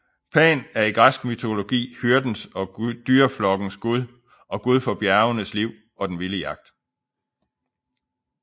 Pan er i græsk mytologi hyrdens og dyreflokkens gud og gud for bjergenes liv og den vilde jagt